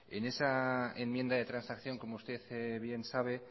en esa enmienda de transacción como usted bien sabe